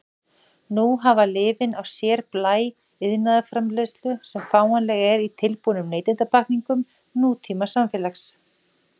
Nú hafa lyfin á sér blæ iðnaðarframleiðslu sem fáanleg er í tilbúnum neytendapakkningum nútímasamfélags.